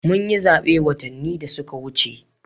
Mun yi zabe watanni da suka wuce